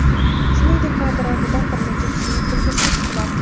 Shuningdek, kadr ortidan bir necha kishining kulgisi eshitiladi.